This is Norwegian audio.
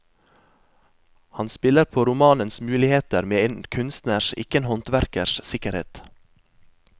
Han spiller på romanens muligheter med en kunstners, ikke en håndverkers, sikkerhet.